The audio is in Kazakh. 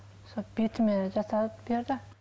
сол бетіме жасап берді